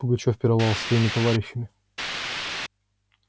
пугачёв пировал со своими товарищами